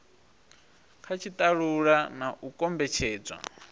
kha tshitalula na u kombetshedzwa